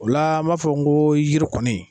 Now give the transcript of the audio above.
O la an b'a fɔ n ko yiri kɔ